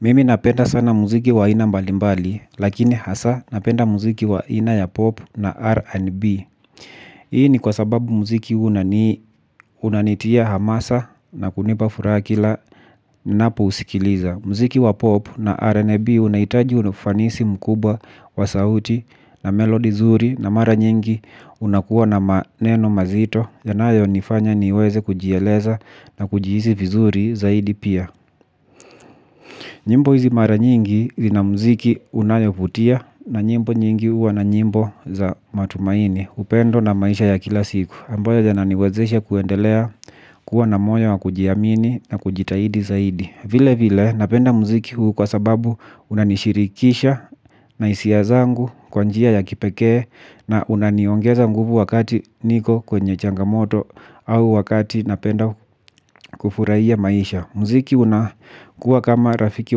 Mimi napenda sana muziki wa ina mbalimbali, lakini hasa napenda muziki wa ina ya pop na R&B. Hii ni kwa sababu muziki unanitia hamasa na kunipa fura kila napousikiliza. Mziki wa pop na R&B unaitaji unofanisi mkubwa wa sauti na melodi zuri na mara nyingi unakuwa maneno mazito. Yanayo nifanya niweze kujieleza na kujihizi vizuri zaidi pia. Nyimbo hizi mara nyingi hizi ina mziki unayofutia na nyimbo nyingi uwa na nyimbo za matumaini upendo na maisha ya kila siku ambayo yananiwezesha kuendelea kuwa na moyo wa kujiamini na kujitahidi zaidi. Vile vile napenda mziki huu kwa sababu unanishirikisha na isia zangu kwanjia ya kipekee na unaniongeza nguvu wakati niko kwenye changamoto au wakati napenda kufurahia maisha. Mziki unakuwa kama rafiki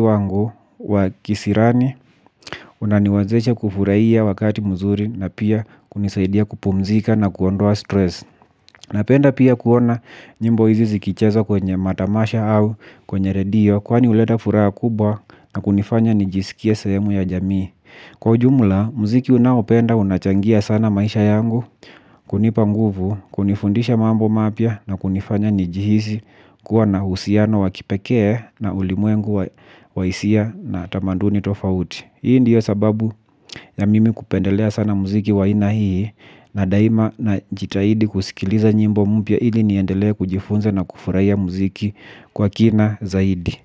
wangu wa kisirani, unaniwazesha kufuraiya wakati mzuri na pia kunisaidia kupumzika na kuondoa stress. Napenda pia kuona nyimbo izi zikichezwa kwenye matamasha au kwenye radio kwani uleda fura kubwa na kunifanya nijisikie sehemu ya jamii. Kwa ujumla, muziki unaopenda unachangia sana maisha yangu, kunipa nguvu, kunifundisha mambo mapia na kunifanya nijihizi kuwa na uhusiano wakipekee na ulimuengu wa isia na tamanduni tofauti. Hii ndiyo sababu ya mimi kupendelea sana muziki wa aina hii na daima najitahidi kusikiliza nyimbo mpya hili niendelea kujifunze na kufuraya muziki kwa kina zaidi.